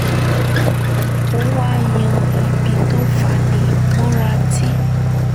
ó wá yan ibi tó fani mọ́ra tí